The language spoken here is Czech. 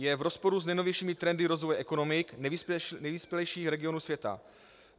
Je v rozporu s nejnovějšími trendy rozvoje ekonomik nejvyspělejších regionů světa.